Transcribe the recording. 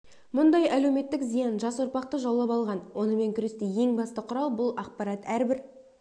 бұндай әлеуметтік зиян жас ұрпақты жаулап алған онымен күресте ең басты құрал бұл ақпарат әрбір